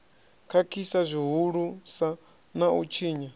khakhisa zwihulusa na u tshinya